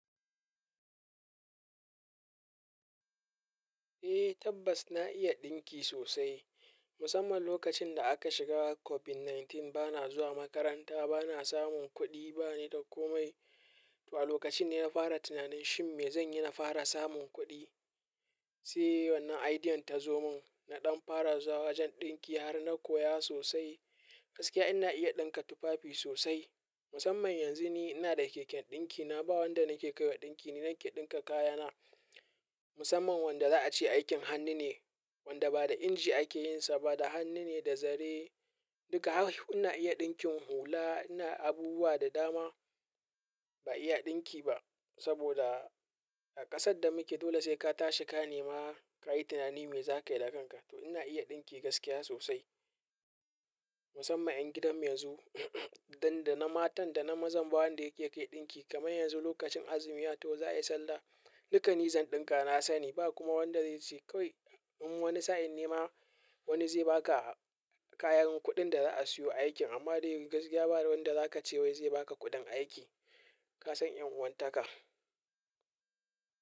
Eh tabbas na iya ɗinki sosai. Musamman lokacin da aka shiga COVID-sha tara bana zuwa makaranta, bana samun kuɗi bani da komai. To a lokacin ne na fara tunanin shin me zan yi na fara samun kuɗi? Sai wannan idea ta zo mun. Na ɗan fara zuwa wajen ɗinki har na koya sosai. Gaskiya ina iya ɗinka tufafi sosai. Musamman yanzu ni ina da keken ɗinki. Na ba wanda nake kaiwa ɗinki ne nake ɗinka kayana. Musamman wanda za a ce aikin hannu ne, wanda ba da inji ake yin sa ba, da hannu ne, da zare. Duka har ina iya ɗinkin hula. Ina abubuwa da dama ba iya ɗinki ba. Saboda a ƙasar da muke dole sai ka tashi, ka nema, ka yi tunani me za ka yi da kanka. To ina iya ɗinki gaskiya sosai. Musamman ƴan gidan mu yanzu dan da na matan da na maza, ba wanda yake kai ɗinki. Kamar yanzu lokacin azumiya to za a yi sallah. Duka ni zan ɗinka, na sani ba kuma wanda zai ce kawai. In wani sa'in nema wani zai baka kayan kuɗin da za a siyo aikin amma dai gaskiya ba wanda zaka ce wai zai baka kuɗin aiki. Kasan 'yan uwantaka.